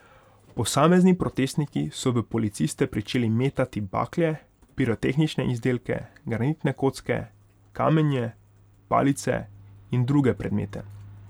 Posamezni protestniki so v policiste pričeli metati bakle, pirotehnične izdelke, granitne kocke, kamenje, palice in druge predmete.